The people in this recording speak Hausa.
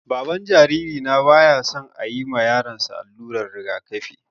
Baban jaririna baya son ayi ma yaron sa allurar rigakafi